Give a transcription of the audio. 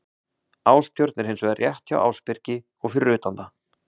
Ástjörn er hins vegar rétt hjá Ásbyrgi og fyrir utan það.